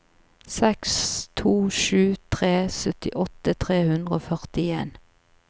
seks to sju tre syttiåtte tre hundre og førtien